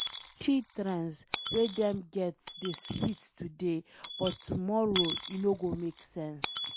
Plenty trends wey dem get dey sweet today but tomorrow e no go make sense.